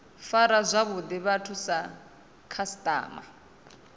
fara zwavhuḓi vhathu sa khasiṱama